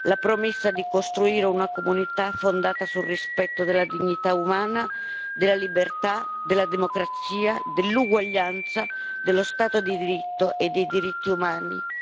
La promessa di costruire una comunità fondata sul rispetto della dignità umana, della libertà, della democrazia, dell'uguaglianza, dello Stato di diritto e dei diritti umani.